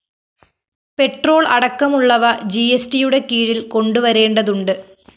petrol അടക്കമുള്ളവ ജിഎസ്ടിയുടെ കീഴില്‍ കൊണ്ടുവരേണ്ടതുണ്ട്